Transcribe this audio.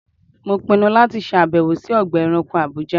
Mo pinnu láti ṣàbẹ̀wò sí Ọgbà ẹranko Àbújá.